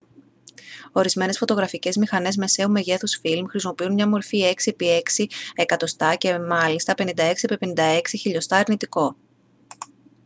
ορισμένες φωτογραφικές μηχανές μεσαίου μεγέθους φιλμ χρησιμοποιούν μια μορφή 6 επί 6 cm και μάλιστα 56 επί 56 mm αρνητικό